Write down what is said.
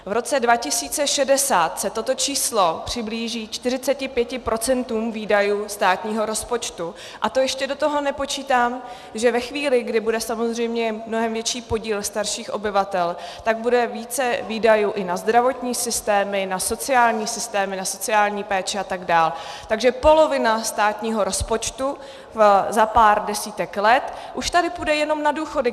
V roce 2060 se toto číslo přiblíží 45 % výdajů státního rozpočtu, a to ještě do toho nepočítám, že ve chvíli, kdy bude samozřejmě mnohem větší podíl starších obyvatel, tak bude více výdajů i na zdravotní systémy, na sociální systémy, na sociální péči atd., takže polovina státního rozpočtu za pár desítek let už tady půjde jenom na důchody.